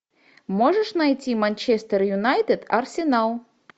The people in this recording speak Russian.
можешь найти манчестер юнайтед арсенал